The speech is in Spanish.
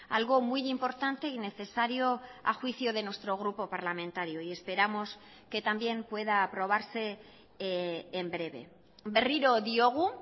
algo muy importante y necesario a juicio de nuestro grupo parlamentario y esperamos que también pueda aprobarse en breve berriro diogu